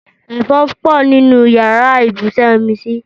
Ẹ̀fọn pọ̀ nínú yàrá ibùsùn Yẹ́misí